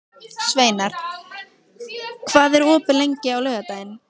Sveinar, hvað er opið lengi á laugardaginn?